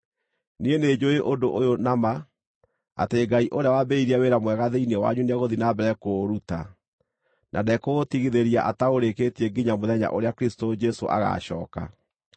Niĩ nĩnjũũĩ ũndũ ũyũ na ma, atĩ Ngai ũrĩa waambĩrĩirie wĩra mwega thĩinĩ wanyu nĩegũthiĩ na mbere kũũruta, na ndekũũtigithĩria ataũrĩkĩtie nginya mũthenya ũrĩa Kristũ Jesũ agaacooka.